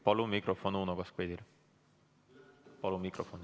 Palun mikrofon Uno Kaskpeitile!